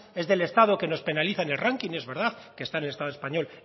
es del estado que nos penaliza en el ranking es verdad que estar en el estado español